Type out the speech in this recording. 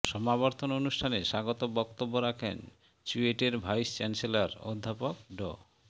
সমাবর্তন অনুষ্ঠানে স্বাগত বক্তব্য রাখেন চুয়েটের ভাইস চ্যান্সেলর অধ্যাপক ড